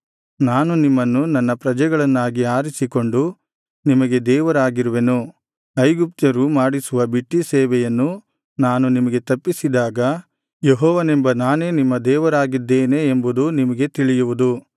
ನಾನು ನಿಮ್ಮನ್ನು ನನ್ನ ಪ್ರಜೆಗಳನ್ನಾಗಿ ಆರಿಸಿಕೊಂಡು ನಿಮಗೆ ದೇವರಾಗಿರುವೆನು ಐಗುಪ್ತ್ಯರು ಮಾಡಿಸುವ ಬಿಟ್ಟೀ ಸೇವೆಯನ್ನು ನಾನು ನಿಮಗೆ ತಪ್ಪಿಸಿದಾಗ ಯೆಹೋವನೆಂಬ ನಾನೇ ನಿಮ್ಮ ದೇವರಾಗಿದ್ದೇನೆ ಎಂಬುದು ನಿಮಗೆ ತಿಳಿಯುವುದು